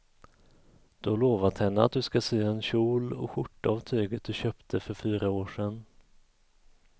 Du har lovat henne att du ska sy en kjol och skjorta av tyget du köpte för fyra år sedan.